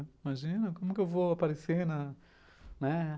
Imagina, como eu vou aparecer na, né?